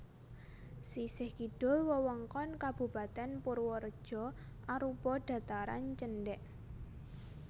Sisih kidul wewengkon Kabupatèn Purwareja arupa dhataran cendhèk